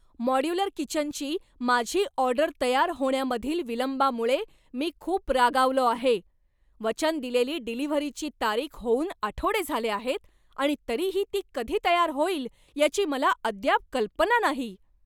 Modular किचनची माझी order तयार होण्यामधील विलंबामुळे मी खुप रागावलो आहे. वचन दिलेली डिलिव्हरीची तारीख होऊन आठवडे झाले आहेत आणि तरीही ती कधी तयार होईल याची मला अद्याप कल्पना नाही.